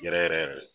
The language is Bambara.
Yɛrɛ yɛrɛ